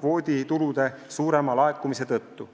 kvoodi tulude suurema laekumise tõttu.